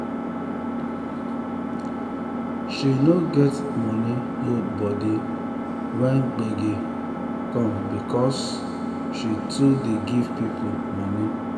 um she no get money hold body when gbege um come because um she too dey give people money